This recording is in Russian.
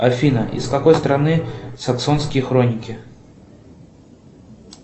афина из какой страны саксонские хроники